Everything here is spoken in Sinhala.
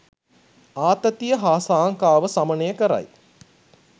ආතතිය හා සාංකාව සමනය කරයි.